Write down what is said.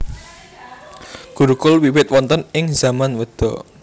Gurukul wiwit wonten ing zaman Weda